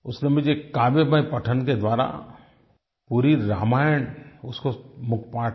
उसने मुझे काव्यमय पठन के द्वारा पूरी रामायण उसको मुखपाठ है